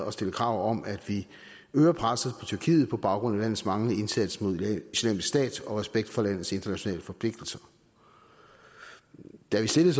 at stille krav om at vi øger presset på tyrkiet på baggrund af landets manglende indsats mod islamisk stat og manglende respekt for landets internationale forpligtelser da vi stillede